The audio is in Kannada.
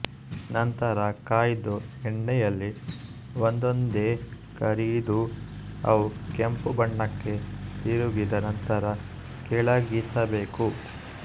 ನಂತರ ಕಾಯ್ದ ಎಣ್ಣೆಯಲ್ಲಿ ಒಂದೊಂದೇ ಕರಿದು ಅವು ಕೆಂಪು ಬಣ್ಣಕ್ಕೆ ತಿರುಗಿದ ನಂತರ ಕೆಳಗಿಳಿಸಬೇಕು